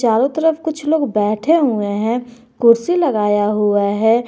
चारों तरफ कुछ लोग बैठे हुए हैं कुर्सी लगाया हुआ है।